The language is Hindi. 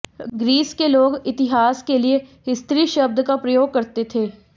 ग्रीस के लोग इतिहास के लिए हिस्तरी शब्द का प्रयोग करते थे